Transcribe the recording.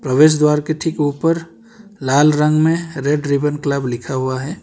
प्रवेश द्वारा के ठीक ऊपर लाल रंग में रेड रिबन क्लब लिखा हुआ है।